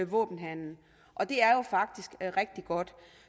våbenhandel og det er jo faktisk rigtig godt